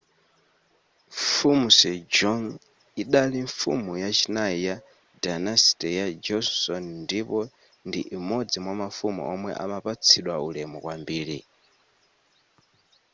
mfumu sejong idali mfumu yachinayi ya dynasty ya joseon ndipo ndi imodzi mwamafumu omwe imapatsidwa ulemu kwambiri